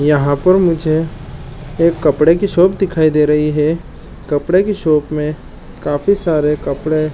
यहाँ पर मुझे एक कपड़े की शॉप दिखाई दे रही है कपड़े की शॉप में काफी सारे कपड़े--